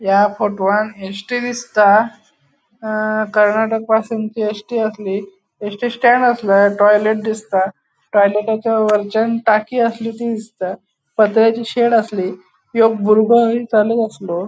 या फोटोवंत S. T. दिसता अ कर्नाटक पासिंगची एस टी आसली एस. टी. स्टॅन्ड आसले टॉइलेट दिसता टॉइलेटचा वर्च्यानं टाकी आसली थी दिसता पत्राची शेड आसली एक बुरगो अस्लो.